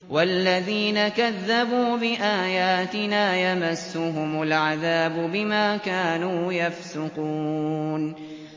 وَالَّذِينَ كَذَّبُوا بِآيَاتِنَا يَمَسُّهُمُ الْعَذَابُ بِمَا كَانُوا يَفْسُقُونَ